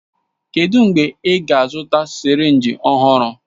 Kedụ mgbe ị ga-azụta sirinji ọhụrụ?